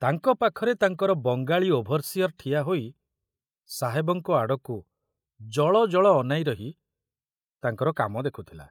ତାଙ୍କ ପାଖରେ ତାଙ୍କର ବଙ୍ଗାଳୀ ଓଭରସିଅର ଠିଆ ହୋଇ ସାହେବଙ୍କ ଆଡ଼କୁ ଜଳଜଳ ଅନାଇ ରହି ତାଙ୍କର କାମ ଦେଖୁଥିଲା।